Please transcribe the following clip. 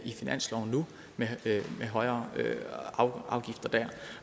i finansloven nu med højere afgifter der